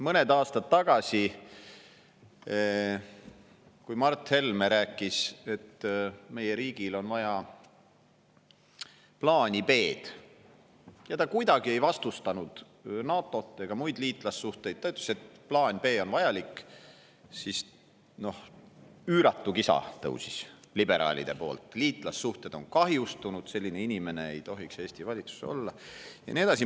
Mõned aastad tagasi, kui Mart Helme rääkis, et meie riigil on vaja plaani B – ta kuidagi ei vastustanud NATO-t ega muid liitlassuhteid, vaid ütles lihtsalt, et plaan B on vajalik –, siis tõusis liberaalide leerist üüratu kisa: liitlassuhted on kahjustunud, selline inimene ei tohiks Eesti valitsuses olla ja nii edasi.